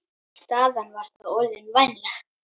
Staðan var þá orðin vænleg.